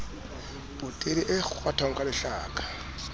potele e kgwathwang ka lehlaka